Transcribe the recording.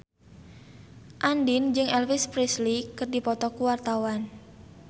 Andien jeung Elvis Presley keur dipoto ku wartawan